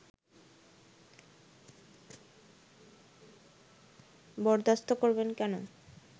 বরদাশত করবেন কেন